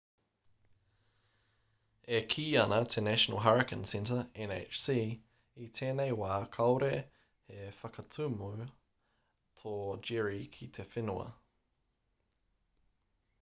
e kī ana te national hurricane center nhc i tēnei wā kāore he whakatuma tō jerry ki te whenua